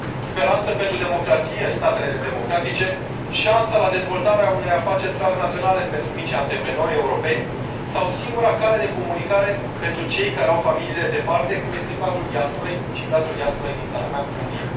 Speranță pentru democrație în statele nedemocratice, șansa la dezvoltarea unei afaceri transnaționale pentru micii antreprenori europeni sau singura cale de comunicare pentru cei care au familiile departe, cum este cazul diasporei și cazul diasporei din țara mea, România.